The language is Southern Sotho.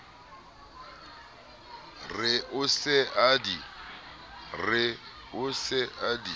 re o se a di